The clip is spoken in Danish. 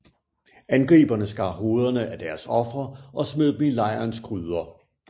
Angriberne skar hovederne af deres ofre og smed dem i lejrens gryder